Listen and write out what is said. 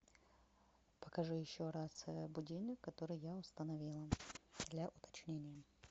покажи еще раз будильник который я установила для уточнения